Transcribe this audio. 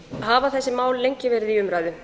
hafa þessi mál lengi verið í umræðu